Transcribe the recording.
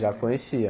Já conhecia.